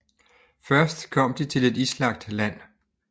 Først kom de til et islagt land